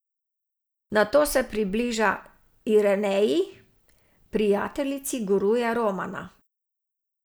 Nato se približa Ireneji, prijateljici guruja Romana.